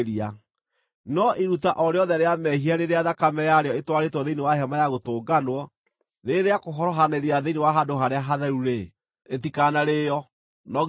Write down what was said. No iruta o rĩothe rĩa mehia rĩrĩa thakame yarĩo ĩtwarĩtwo thĩinĩ wa Hema-ya-Gũtũnganwo, ĩrĩ ya kũhorohanĩria thĩinĩ wa Handũ-Harĩa-Hatheru-rĩ, rĩtikanarĩĩo; no nginya rĩcinwo.